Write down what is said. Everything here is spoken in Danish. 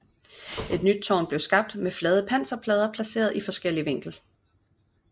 Et nyt tårn blev skabt med flade panserplader placeret i forskellig vinkel